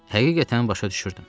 Həqiqətən başa düşürdüm.